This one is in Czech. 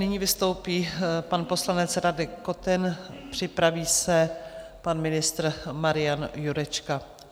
Nyní vystoupí pan poslanec Radek Koten, připraví se pan ministr Marian Jurečka.